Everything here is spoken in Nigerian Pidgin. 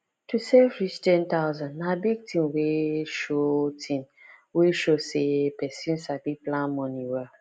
to save reach ten thousand na big thing wey show thing wey show say person sabi plan money well